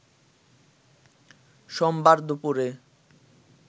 সোমবার দুপুরে